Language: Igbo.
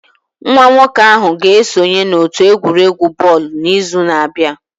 Nwa nwoke ahụ ga-esonye n'otu egwuregwu bọọlụ n'izu na-abịa